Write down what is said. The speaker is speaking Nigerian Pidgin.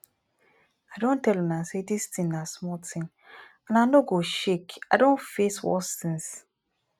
i don tell una say dis thing na small thing and i no go shakei don face worse things